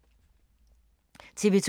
TV 2